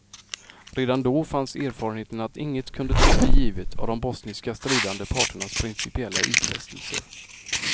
Redan då fanns erfarenheten att inget kunde tas för givet av de bosniska stridande parternas principiella utfästelser.